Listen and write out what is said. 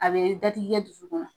A be dadigi kɛ dusukun na.